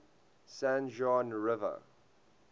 san juan river